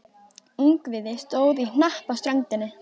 Ungviðið stóð í hnapp á ströndinni.